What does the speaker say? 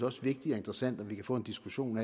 også vigtigt og interessant om vi kan få en diskussion